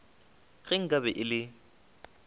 ge nka be e le